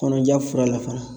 Kɔnɔja fura la fana